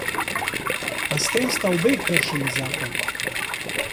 A s tem sta obe kršili zakon.